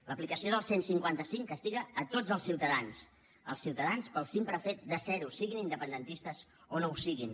l’aplicació del cent i cinquanta cinc castiga a tots els ciutadans els ciutadans pel simple fet de ser ho siguin independentistes o no ho siguin